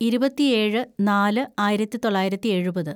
ഇരുപത്തിയേഴ് നാല് ആയിരത്തിതൊള്ളായിരത്തി എഴുപത്‌